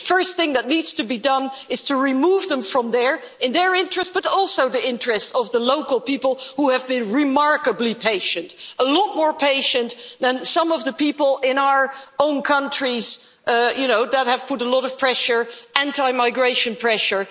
The first thing that needs to be done is to remove them from there, in their interests but also in the interests of the local people who have been remarkably patient a lot more patient than some of the people in our own countries who have applied a lot of anti migration pressure.